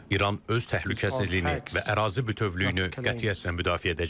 İran öz təhlükəsizliyini və ərazi bütövlüyünü qətiyyətlə müdafiə edəcək.